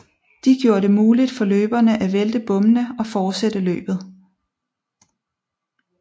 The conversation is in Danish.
De gjorde det muligt for løberne at vælte bommene og fortsætte løbet